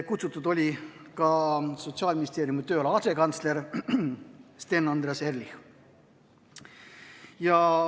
Kutsutud oli ka Sotsiaalministeeriumi tööala asekantsler Sten Andreas Ehrlich.